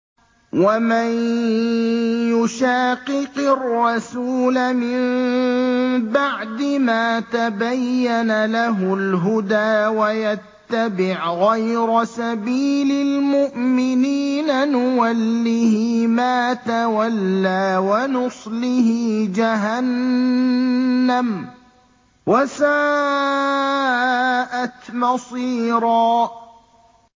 وَمَن يُشَاقِقِ الرَّسُولَ مِن بَعْدِ مَا تَبَيَّنَ لَهُ الْهُدَىٰ وَيَتَّبِعْ غَيْرَ سَبِيلِ الْمُؤْمِنِينَ نُوَلِّهِ مَا تَوَلَّىٰ وَنُصْلِهِ جَهَنَّمَ ۖ وَسَاءَتْ مَصِيرًا